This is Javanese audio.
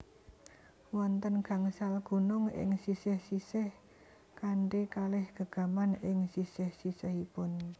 Wonten gangsal gunung ing sisih sisih kanthi kalih gegaman ing sisih sisihipun